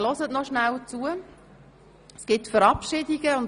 Weiter wird es eine ganze Reihe von Verabschiedungen geben.